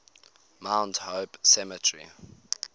mount hope cemetery